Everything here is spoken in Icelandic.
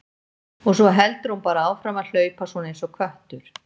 Og svo heldur hún bara áfram að hlaupa svona einsog köttur.